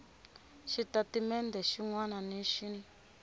xitatimendhe xin wana na xin